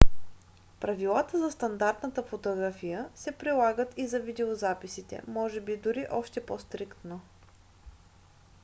правилата за стандартната фотография се прилагат и за видеозаписите може би дори още по-стриктно